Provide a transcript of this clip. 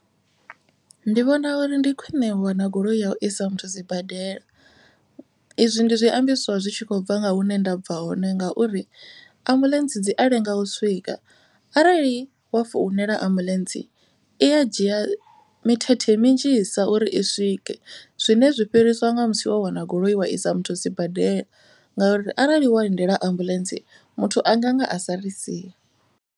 Ndi vhona uri ndi khwine u wana goloi ya u isa muthu sibadela. I zwi ndi zwiambiswa zwi tshi khou bva nga hune ndabva hone ngauri ambuḽentse dzi a lenga u swika. Arali wa founela ambuḽentse i ya dzhia mithethe minzhisa uri i swike. Zwine zwi fhiriswa nga musi wo wana goloi wa i sa muthu sibadela. Ngauri arali wa lindela ambuḽentse muthu anga nga a sa ri sia.